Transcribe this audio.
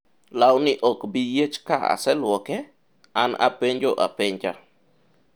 lawni ok bi yiech ka aselwoke?,an apenjo apenja